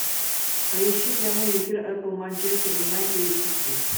поищи прямой эфир апл манчестер юнайтед и сити